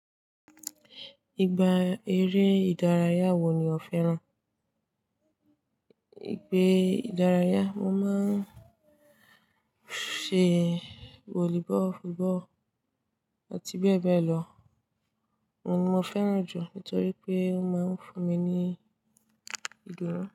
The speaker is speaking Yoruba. Ìgbà eré ìdárayá wo ni ò fẹ́ràn? Eré ìdárayá, mo máa ń ṣe volleyball, football àti bẹ́ẹ̀ bẹ́ẹ̀ lọ. Mo fẹ́ràn jù nítorí pé ó máa ń fún mi ní ìdúnnun.